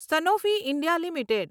Sanofi India limited